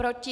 Proti?